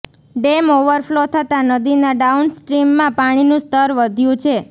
dam overflow થતા નદીના down સ્ટ્રીમમાં પાણીનું સ્તર વધ્યુ છે